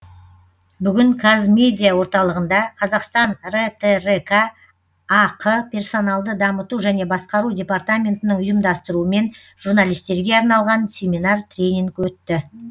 бүгін казмедиа орталығында қазақстан ртрк ақ персоналды дамыту және басқару департаментінің ұйымдастыруымен журналистерге арналған семинар тренинг өтті